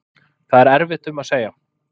Það er erfitt um að segja